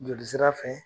Joli sira fɛ